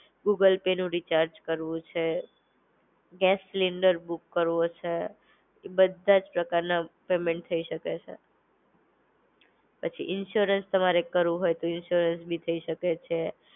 Google Pay નું recharge કરવું છે, ગેસ સિલિન્ડર બુક કરવો છે, એ બધાજ પ્રકાર ના પેમેન્ટ થઇ શકે છે. પછી ઇન્શ્યોરન્સ તમારે કરવું હોય તો ઇન્શ્યોરન્સ બી થઇ શકે છે.